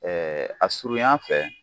a surunyan fɛ